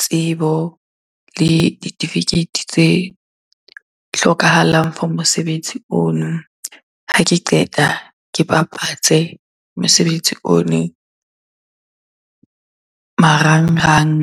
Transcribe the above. tsebo le ditifikeiti tse hlokahalang for mosebetsi ono. Ha ke qeta, ke bapatse mosebetsi ono marangrang.